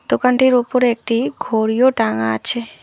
দোকানটির ওপরে একটি ঘড়িও টাঙা আছে।